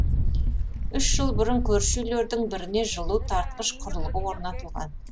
үш жыл бұрын көрші үйлердің біріне жылу тартқыш құрылғы орнатылған